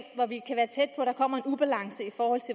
ubalance